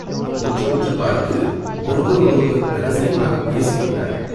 உற்று உற்றுப் பார்த்து ஒருவரோடொருவர் இரகசியமாகப் பேசிக் கொண்டார்கள்.